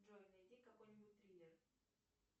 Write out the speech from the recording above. джой найди какой нибудь триллер